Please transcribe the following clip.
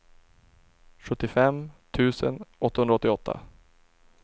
sjuttiofem tusen åttahundraåttioåtta